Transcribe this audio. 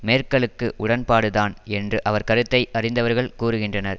மேர்க்கலுக்கு உடன்பாடுதான் என்று அவர் கருத்தை அறிந்தவர்கள் கூறுகின்றனர்